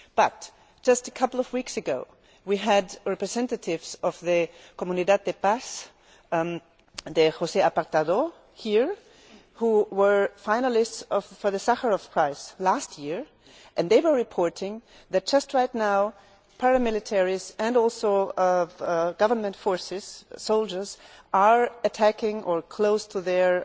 However, just a couple of weeks ago we had representatives of the Comunidad de Paz de San José de Apartadó here, who were finalists for the Sakharov Prize last year, and they were reporting that just right now paramilitaries and also government forces, soldiers, are attacking or close to their